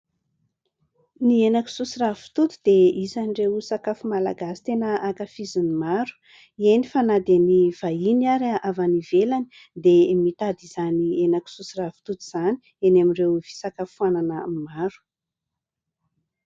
Ny henan-kisoa ay ravitoto dia isan'ireo sakafo malagasy tena ankafizin'ny maro, eny fa na dia ny vahiny ary avy any ivelany dia mitady izany henan-kisoa sy ravitoto izany eny amin'ireo fisakafoanana maro.